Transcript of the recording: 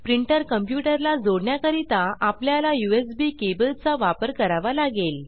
printer computer ला जोडण्या करिता आपल्याला यूएसबी केबल चा वापर करावा लागेल